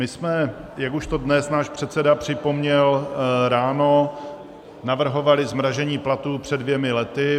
My jsme, jak už to dnes náš předseda připomněl ráno, navrhovali zmražení platů před dvěma lety.